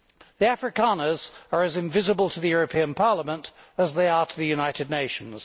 The Afrikaners are as invisible to the European Parliament as they are to the United Nations.